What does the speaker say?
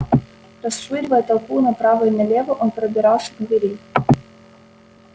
расшвыривая толпу направо и налево он пробирался к двери